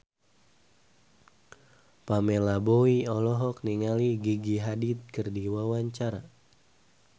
Pamela Bowie olohok ningali Gigi Hadid keur diwawancara